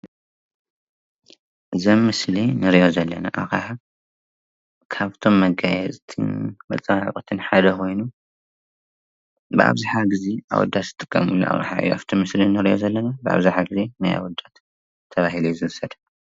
እዛ ምስሊ ንሪኣ ዘለና ኣቕሓ ካብቶም መጋየፅትን መፀባበቅትን ሓደ ኮይኑ ብኣብዝሓ ግዜ ኣወዳት ዝጥቀሙላ ኣቕሓ እያ፡፡ ኣብታ ምስሊ እንሪኣ ዘለና ብኣብዝሓ ግዜ ናይ ኣወዳት ተባሂሉ እዩ ዝዉሰድ፡፡